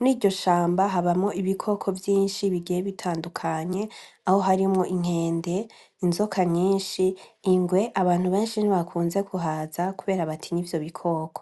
.Mur'iryo shamba habamwo ibikoko vyinshi bigiye bitandukanye aho harimwo : inkende, inzoka nyinshi , ingwe , abantu benshi ntibakunze kuhaza kubera batiny'ivyo bikoko.